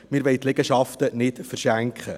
Wir wollen die Liegenschaften nicht verschenken.